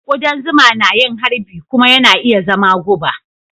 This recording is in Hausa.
Kudan zuma na yin harbi kuma yana iya zama guba.